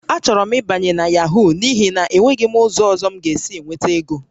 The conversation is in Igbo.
Achọrọ m ịbanye na Yahoo n'ihi na enweghị m ụzọ ọzọ m ga-esi enweta ego